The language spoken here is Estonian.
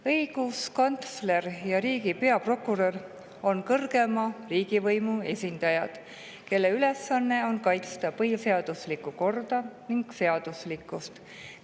Õiguskantsler ja riigi peaprokurör on kõrgeima riigivõimu esindajad, kelle ülesanne on kaitsta põhiseaduslikku korda ning seaduslikkust.